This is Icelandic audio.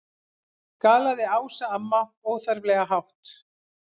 galaði Ása amma, óþarflega hátt.